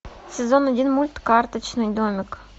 сезон один мульт карточный домик